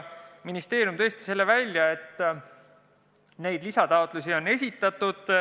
Ministeerium tõi tõesti välja, et neid lisataotlusi on esitatud.